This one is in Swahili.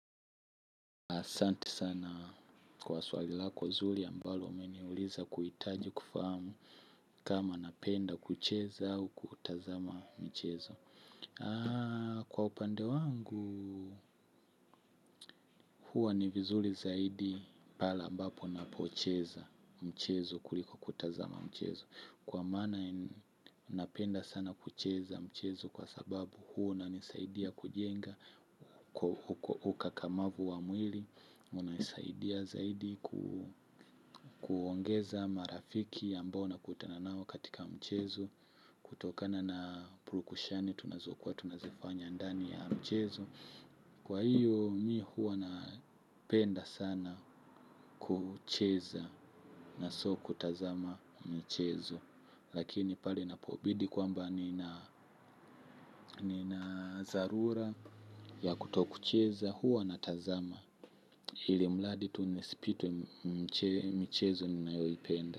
Asante sana kwa swali lako zuli ambalo umeniuliza kuitaji kufahamu kama napenda kucheza au kutazama michezo. Kwa upande wangu huwa ni vizuli zaidi pale ambapo napocheza michezo kuliko kutazama mchezo. Kwa maana napenda sana kucheza mchezo kwa sababu huwa inanisaidia kujenga ukakamavu wa mwili unaisaidia zaidi kuongeza marafiki ambao nakutana nao katika mchezo kutokana na prukushani tunazokuwa tunazifanya ndani ya mchezo kwa hiyo mi huwa napenda sana kucheza na sio kutazama mchezo lakini pale inapobidi kwamba nina zarura ya kutokucheza hua natazama. Ilimradi tu nisipitwe michezo ninayoipenda.